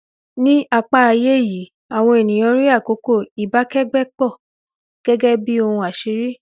Ní apá ayé yìí, àwọn ènìyàn rí àkókò ìbákẹ́gbẹ́pọ̀ gẹ́gẹ́ bí ohun àṣírí